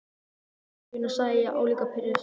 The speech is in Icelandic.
Konan í sögunni, segi ég álíka pirruð.